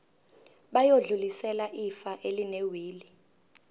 bayodlulisela ifa elinewili